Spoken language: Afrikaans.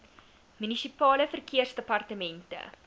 munisipale verkeersdepartemente